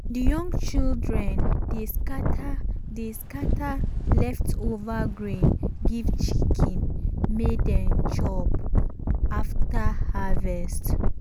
the young children dey scatter dey scatter leftover grain give chicken make them chop after harvest.